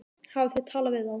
Hafið þið talað við þá?